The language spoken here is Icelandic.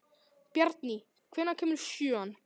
Bjarný, hvenær kemur sjöan?